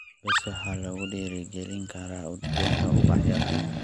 Bees waxaa lagu dhiirigelin karaa udgoonka ubaxyada.